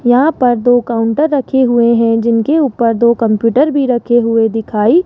यहां पर दो काउंटर रखे हुए हैं जिनके ऊपर दो कंप्यूटर भी रखे हुए दिखाई--